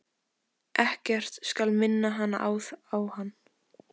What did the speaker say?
Ekkert skal minna hana á hann.